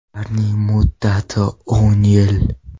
Ularning muddati o‘n yil.